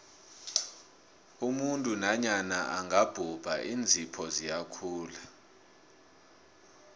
umuntu nanyana angabhubha iinzipho ziyakhula